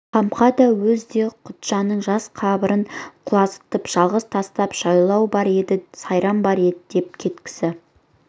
қамқа да өзі де құтжанның жас қабырын құлазытып жалғыз тастап жайлау бар еді сайран бар еді деп кеткісі